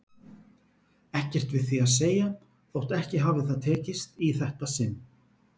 Ekkert við því að segja þótt ekki hafi það tekist í þetta sinn.